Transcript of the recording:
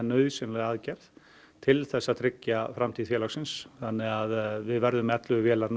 nauðsynlega aðgerð til þess að tryggja framtíð félagsins þannig að við verðum með ellefu vélar